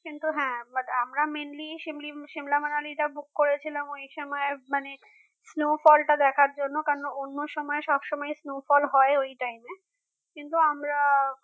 কিন্তু হ্যাঁ but আমরা mainly simla manali টা book করেছিলাম ওই সময় মানে snowfall টা দেখার জন্য কারণ অন্য সময় সব সময় snowfall হয় ওই time এ কিন্তু আমরা